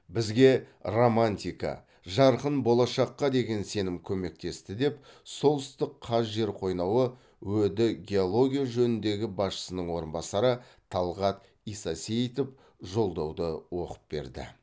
бізге романтика жарқын болашаққа деген сенім көмектесті деп солтүстікқазжерқойнауы өд геология жөніндегі басшысының орынбасары талғат исасеитов жолдауды оқып берді